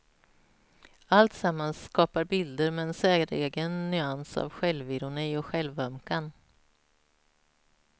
Alltsammans skapar bilder med en säregen nyans av självironi och självömkan.